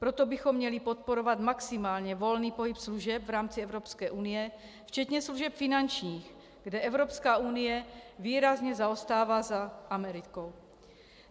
Proto bychom měli podporovat maximálně volný pohyb služeb v rámci Evropské unie včetně služeb finančních, kde Evropská unie výrazně zaostává za Amerikou.